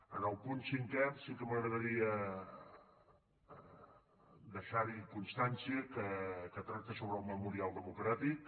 en el punt cinquè sí que m’agradaria deixar constància que tracta sobre el memorial democràtic